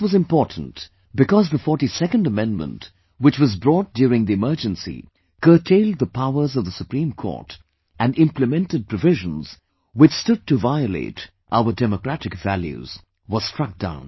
This was important because the 42nd amendment which was brought during the emergency, curtailed the powers of the Supreme Court and implemented provisions which stood to violate our democratic values, was struck down